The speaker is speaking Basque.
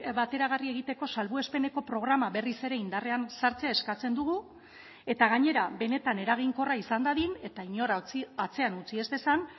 bateragarri egiteko salbuespeneko programa berriz ere indarrean sartzea eskatzen dugu eta gainera benetan eraginkorra izan dadin eta inora atzean utzi ez dezan